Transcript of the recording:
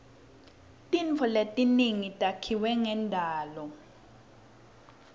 tintfo letinyenti takhiwe ngendalo